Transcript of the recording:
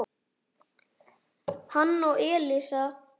hann og Elísa.